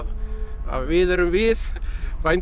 að við erum við